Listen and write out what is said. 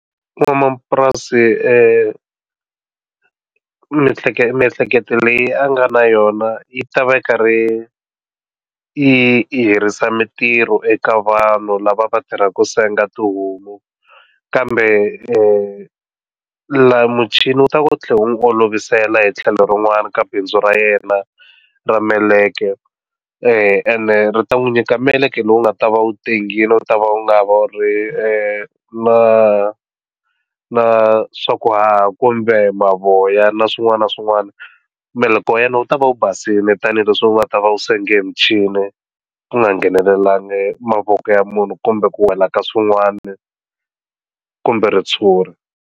N'wamapurasi miehleketo miehleketo leyi a nga na yona yi ta va yi karhi yi herisa mitirho eka vanhu lava va tirhaka senga tihomu kambe la muchini wu ta ku tlhela u n'wi olovisela hi tlhelo rin'wana ka bindzu ra yena ra meleke ene ri ta n'wi nyika meleke lowu nga ta va u tengile u ta va u nga va ri na na swaku haha kumbe mavoya na swin'wana na swin'wana mbeleko wa yena wu ta va u basile tanihileswi nga ta va u senga hi michini ku nga ngheneleli bangi mavoko ya munhu kumbe ku wela ka swin'wana kumbe ritshuri.